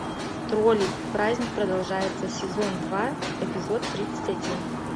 тролли праздник продолжается сезон два эпизод тридцать один